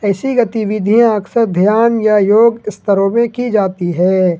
ऐसी गतिविधियां अक्सर ध्यान या योग स्तरों में की जाती है।